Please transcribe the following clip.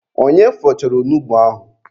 Onye fọchara onugbu ahụ?